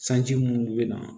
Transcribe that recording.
Sanji munnu be na